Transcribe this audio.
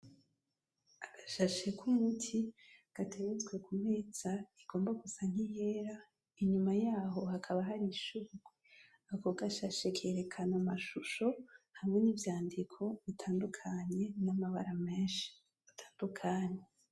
Agashashi k’umiti gateretswe ku meza igomba gusa nk’iyera inyuma yaho hakaba hari ishurwe, ako gashashi kerekana amashusho hamwe n’ivyandiko bitandukaye n’amabara meshi atandukanye.